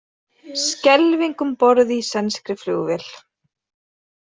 Skelfing um borð í sænskri flugvél